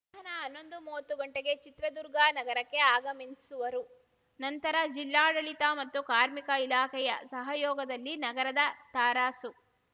ಮಧ್ಯಾಹ್ನ ಹನ್ನೊಂದು ಮೂವತ್ತು ಗಂಟೆಗೆ ಚಿತ್ರದುರ್ಗ ನಗರಕ್ಕೆ ಆಗಮಿನ್ಸುವರು ನಂತರ ಜಿಲ್ಲಾಡಳಿತ ಮತ್ತು ಕಾರ್ಮಿಕ ಇಲಾಖೆಯ ಸಹಯೋಗದಲ್ಲಿ ನಗರದ ತರಾಸು